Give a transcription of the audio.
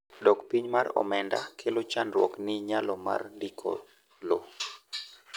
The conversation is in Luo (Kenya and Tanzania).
dok piny mar omenda kelo chandruok ni nyalo mar ndiko lowo